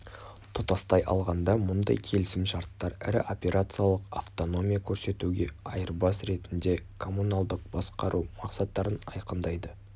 тұтастай алғанда мұндай келісімшарттар ірі операциялық автономия көрсетуге айырбас ретінде коммуналдық басқару мақсаттарын анықтайды